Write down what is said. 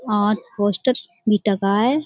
पांच पोस्टर भी टगा है।